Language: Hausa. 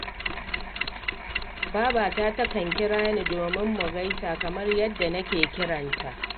Babata takan kira ni dominmu gaisa kamar yadda nake kiran ta